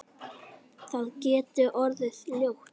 Það getur orðið ljótt.